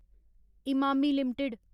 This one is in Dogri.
इमामी लिमिटेड